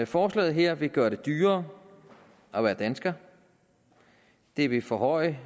forslaget her vil gøre det dyrere at være dansker det vil forhøje